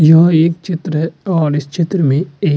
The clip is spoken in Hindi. यह एक चित्र है और इस चित्र मे एक --